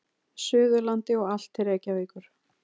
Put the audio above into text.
Suðurlandi og allt til Reykjavíkur.